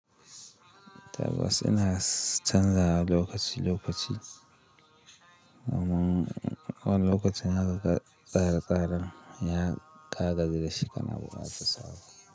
Tabbas ina canzawa lokaci lokaci, amma wani lokacin haka ƙara ƙara ya ƙaga da shi kana buƙata sabo.